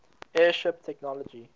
airship technology